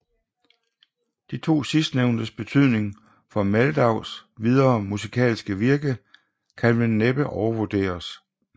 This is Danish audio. De to sidstnævntes betydning for Mehldaus videre musikalske virke kan vel næppe overvurderes